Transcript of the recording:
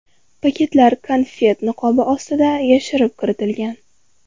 Paketlar konfet niqobi ostida yashirib kiritilgan.